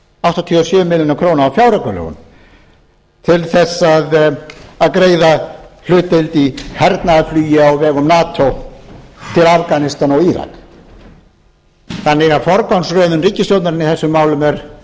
áttatíu og sjö milljónir króna á fjáraukalögum til þess að greiða hlutdeild í hernaðarflugi á vegum nato til afganistan og írak þannig að forgangsröðun ríkisstjórnarinnar í þessum málum er